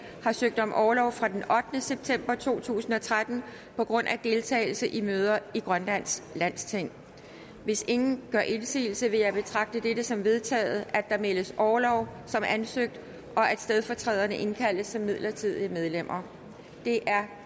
har søgt om orlov fra den ottende september to tusind og tretten på grund af deltagelse i møder i grønlands landsting hvis ingen gør indsigelse vil jeg betragte det som vedtaget at der meddeles orlov som ansøgt og at stedfortræderne indkaldes som midlertidige medlemmer det er